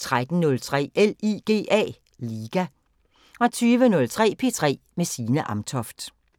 13:03: LIGA 20:03: P3 med Signe Amtoft